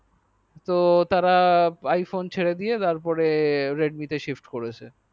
তো তারা iphone ছেড়ে দিয়ে তারপরে redmi তে sift করেছে